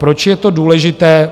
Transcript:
Proč je to důležité?